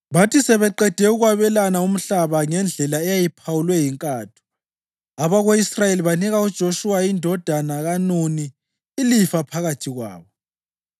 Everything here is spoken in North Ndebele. Bathi sebeqede ukwabelana umhlaba ngendlela eyayiphawulwe yinkatho, abako-Israyeli banika uJoshuwa indodana kaNuni ilifa phakathi kwabo,